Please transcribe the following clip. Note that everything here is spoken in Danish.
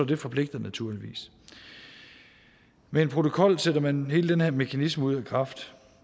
det forpligter naturligvis med en protokol sætter man hele den her mekanisme ud af kraft